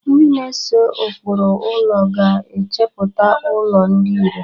Ndị na-ese ụkpụrụ ụlọ ga-echepụta ụlọ dị ịre.